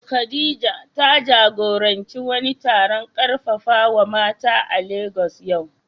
Khadija, ta jagoranci wani taron karfafawa mata a Legas yau.